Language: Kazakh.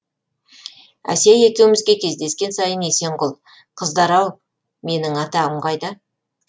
әсия екеумізге кездескен сайын есенқұл қыздар ау менің атағым қайда